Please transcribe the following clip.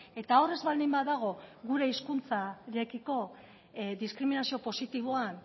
eta hor ez baldin badago gure hizkuntzarekiko diskriminazio positiboan